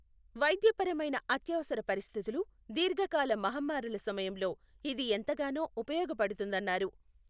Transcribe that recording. వైద్యపరమైన అత్యవసర పరిస్థితులు, దీర్ఘకాల మహమ్మారుల సమయంలో ఇది ఎంతగానో ఉపయోగపడుతుందన్నారు.